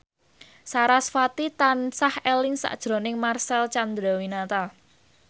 sarasvati tansah eling sakjroning Marcel Chandrawinata